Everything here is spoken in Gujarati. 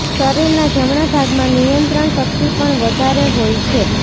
શરીરના જમણા ભાગમાં નિયંત્રણ શક્તિ પણ વધારે હોય છે